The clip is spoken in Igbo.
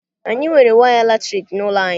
Anyị nwere waya latriki n'ụlọ anyị.